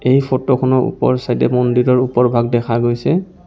এই ফটো খনৰ ওপৰ চাইদ এ মন্দিৰৰ ওপৰ ভাগ দেখা গৈছে.